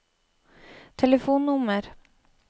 telefonnummer